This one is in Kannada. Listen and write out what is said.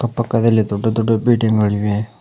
ಅಕ್ಕಪಕ್ಕದಲ್ಲಿ ದೊಡ್ಡ ದೊಡ್ಡ ಬಿಲ್ಡಿಂಗ್ ಗಳಿವೆ.